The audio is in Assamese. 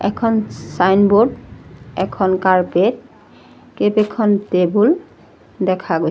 এখন চাইনবোৰ্ড এখন কাৰ্পেট কেইবেখন টেবুল দেখা গৈছে।